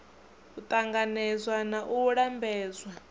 u ṱanganedzwa na u lambedzwa